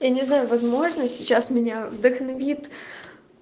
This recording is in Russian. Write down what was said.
я не знаю возможно сейчас меня вдохновит